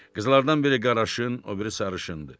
Qızlardan biri qaraşın, o biri sarışındır.